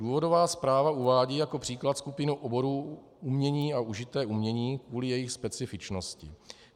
Důvodová zpráva uvádí jako příklad skupinu oborů umění a užité umění kvůli jejich specifičnosti.